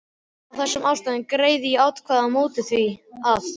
Af þessum ástæðum greiði ég atkvæði á móti því, að